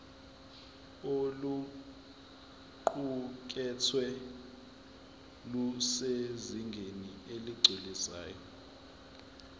oluqukethwe lusezingeni eligculisayo